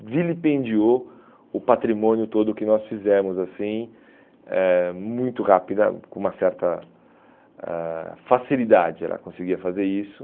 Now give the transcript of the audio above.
Ela vilipendiou o patrimônio todo que nós fizemos assim, eh muito rápida, com uma certa ãh facilidade ela conseguia fazer isso.